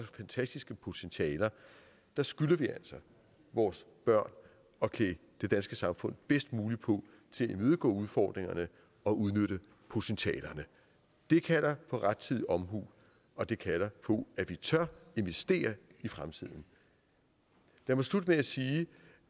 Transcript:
fantastiske potentialer skylder vi altså vores børn at klæde det danske samfund bedst muligt på til at imødegå udfordringerne og udnytte potentialerne det kalder på rettidig omhu og det kalder på at vi tør investere i fremtiden lad mig slutte med at sige